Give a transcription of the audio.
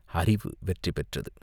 அறிவு வெற்றி பெற்றது.